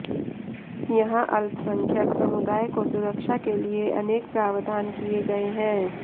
यहां अल्पसंख्यक समुदाय को सुरक्षा के लिए अनेक प्रावधान किये गये हैं